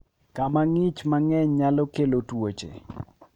Kama ng'ich mang'eny nyalo kelo tuoche.